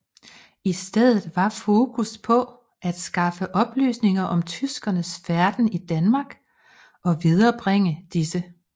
I stedet var fokus på at skaffe oplysninger om tyskernes færden i Danmark og viderebringe disse